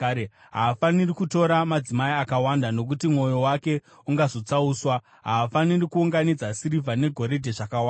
Haafaniri kutora madzimai akawanda, nokuti mwoyo wake ungazotsauswa. Haafaniri kuunganidza sirivha negoridhe zvakawanda.